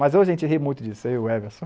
Mas hoje a gente ri muito disso, eu e o Emerson.